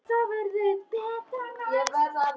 En það verður betra næst.